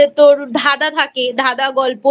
তোর ধাঁধা থাকে ধাঁধা গল্প